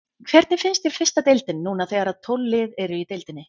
Hvernig finnst þér fyrsta deildin núna þegar að tólf lið eru í deildinni?